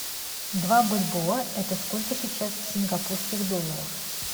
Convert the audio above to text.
два бальбоа это сколько сейчас в сингапурских долларах